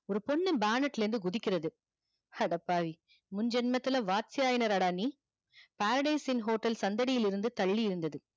ஒரு பொண்ணு bannet ல இருந்து குதிக்கிறது அட பாவி முன் ஜென்மத்துல paradise in hotel சந்தடியில் இருந்து தள்ளி இருந்தது